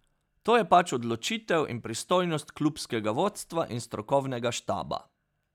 To je pač odločitev in pristojnost klubskega vodstva in strokovnega štaba.